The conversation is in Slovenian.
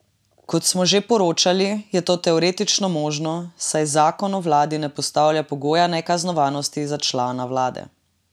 Kot smo že poročali, je to teoretično možno, saj zakon o vladi ne postavlja pogoja nekaznovanosti za člane vlade.